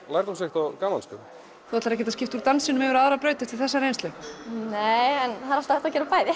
lærdómsríkt og gaman þú ætlar ekki að skipta úr dansi yfir á aðra braut eftir þessa reynslu nei en það er alltaf hægt að gera bæði